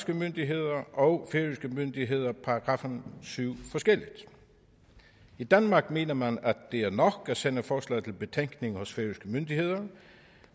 myndigheder og færøske myndigheder § syv forskelligt i danmark mener man at det er nok at sende forslag til betænkning hos færøske myndigheder